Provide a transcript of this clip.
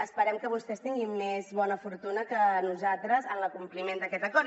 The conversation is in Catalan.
esperem que vostès tinguin més bona fortuna que nosaltres en l’acompliment d’aquest acord